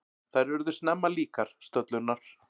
Þær urðu snemma líkar, stöllurnar.